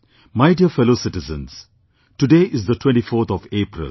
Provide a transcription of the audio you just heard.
My dear fellow citizens, today is the 24th of April